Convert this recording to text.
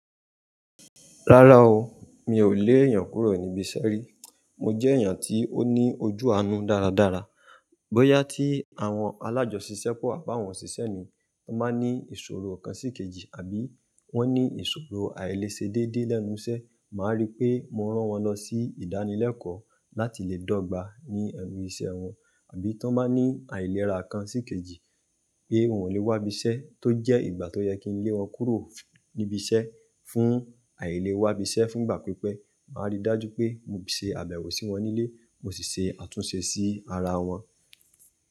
Rárá o, mi ò lé èèyàn kúrò níbi iṣẹ́ rí. Mo jẹ́ èèyàn tí ó ní ojú àánú dáradára. Bóyá tí àwọn alájọṣisẹ́pọ̀ àbá àwọn òṣìṣẹ́ mi, wọ́n ba ní ìṣòro kan sí kejì àbí wọ́n ní ìṣòro àìlesedédé lẹ́nu iṣẹ́, màá rí pé mo rán wọn lọ sí ìdánilẹ́kọ̀ọ́ láti lè dọ́gba ní ẹnu iṣẹ́ wọn, àbí tí wọ́n bá ní àìlera kan sí kejì pé wọ́n ò lè wá ibi iṣẹ́ tó jẹ́ ìgbà tó yẹ kí n lé wọn kúrò níbi iṣẹ́ fún àìle wá ibi iṣẹ́ fún ìgbà pípẹ́, màá rí dájú pé mo ṣe àbẹ̀wò sí wọn nílé, mo sì ṣe àtúnṣe sí ara wọn.